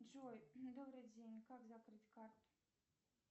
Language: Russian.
джой добрый день как закрыть карту